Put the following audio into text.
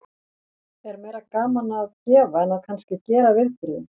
Er meira gaman að gefa en að kannski að gera viðburðinn?